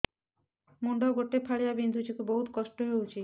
ମୁଣ୍ଡ ଗୋଟେ ଫାଳିଆ ବିନ୍ଧୁଚି ବହୁତ କଷ୍ଟ ହଉଚି